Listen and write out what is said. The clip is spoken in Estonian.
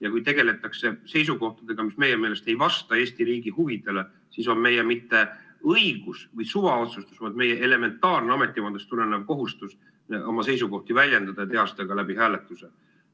Ja kui tegeletakse seisukohtadega, mis meie meelest ei vasta Eesti riigi huvidele, siis on meie mitte õigus või suvaotsustus, vaid meie elementaarne ametivandest tulenev kohustus oma seisukohti väljendada ja teha seda ka läbi hääletuse.